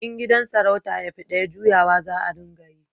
in gidajen sarauta ya fi daya, juyawa za a ringa yi